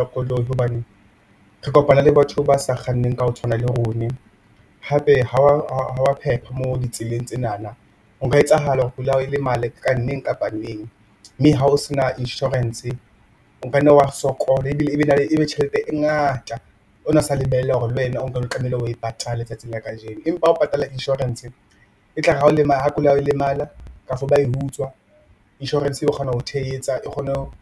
Koloi hobane re kopana le batho ba sa kganneng ka ho tshwana le rone hape ha wa phepha mo ditseleng tsenana ho ka etsahala hore koloi ya hao e lemale neng kapa neng mme ha o sena inshorense, o kanne wa sokola ebile ebe tjhelete e ngata o na sa lebella hore le wena o nke o tlamehile o e patale tsatsing la kajeno empa ha o patalla inshorense e tlare ha koloi ya hao e lemala kapo ba e utswa insurance e kgona ho tshehetsa e kgone ho